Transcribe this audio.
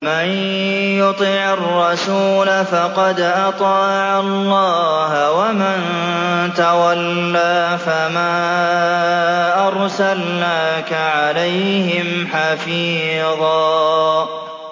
مَّن يُطِعِ الرَّسُولَ فَقَدْ أَطَاعَ اللَّهَ ۖ وَمَن تَوَلَّىٰ فَمَا أَرْسَلْنَاكَ عَلَيْهِمْ حَفِيظًا